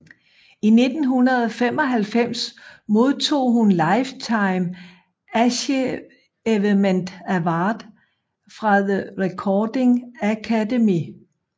I 1995 modtog hun Lifetime Achievement Award fra The Recording Academy